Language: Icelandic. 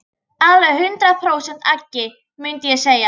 Alveg hundrað prósent agi, mundi ég segja.